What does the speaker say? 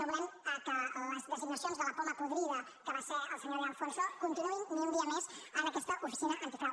no volem que les designacions de la poma podrida que va ser el senyor de alfonso continuïn ni un dia més en aquesta oficina antifrau